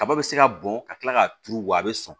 Kaba be se ka bɔn ka kila k'a turu wa a bɛ sɔn